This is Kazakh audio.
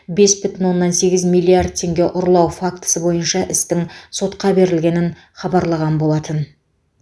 бес бүтін оннан сегіз миллиард теңге ұрлау фактісі бойынша істің сотқа берілгенін хабарлаған болатын